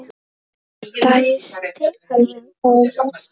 Ég dæsti alveg óvart.